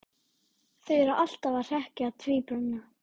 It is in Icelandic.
Ég á eiginlega ekki heimangengt, sagði Lóa.